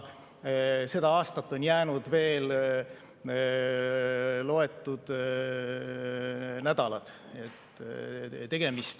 Seda aastat on jäänud veel loetud nädalad.